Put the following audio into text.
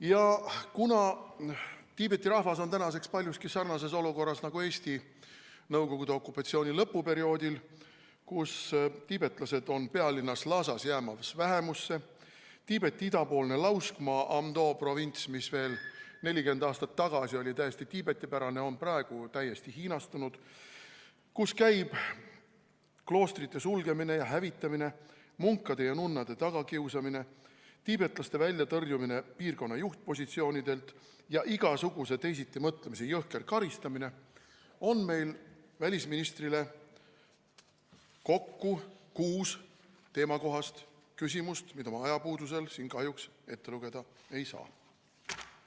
Ja kuna Tiibeti rahvas on tänaseks paljuski sarnases olukorras nagu oli Eesti nõukogude okupatsiooni lõpuperioodil – tiibetlased on pealinnas Lhasas jäämas vähemusse, Tiibeti idapoolne lauskmaa, Amdo provints, mis veel 40 aastat tagasi oli täiesti tiibetipärane, on praegu täiesti hiinastunud, seal suletakse ja hävitatakse kloostreid, kiusatakse taga munkasid ja nunnasid, tõrjutakse tiibetlasi välja piirkonna juhtpositsioonidelt ja karistatakse igasuguse teisitimõtlemise eest –, siis on meil välisministrile kokku kuus teemakohast küsimust, mida ma ajapuudusel siin kahjuks ette lugeda ei saa.